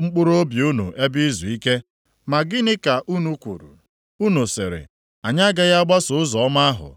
mkpụrụobi unu ebe izuike. Ma gịnị ka unu kwuru? Unu sịrị. ‘Anyị agaghị agbaso ụzọ ọma ahụ.’